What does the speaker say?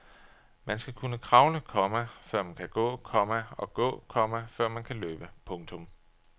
Man skal kunne kravle, komma før man kan gå, komma og gå, komma før man kan løbe. punktum